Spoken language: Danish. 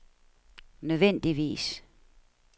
nødvendigvis